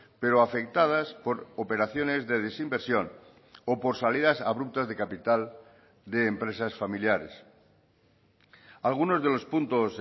pero afectadas por operaciones de desinversión o por salidas abruptas de capital de empresas familiares algunos de los puntos